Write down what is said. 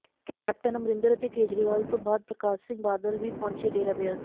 captain Amarinder ਅਤੇ ਕੇਜਰੀਵਾਲ ਤੋਂ ਬਾਅਦ ਪ੍ਰਕਾਸ਼ ਸਿੰਘ ਬਾਦਲ ਵੀ ਪਹੁੰਚੇ ਡੇਰਾ ਬਿਆਸ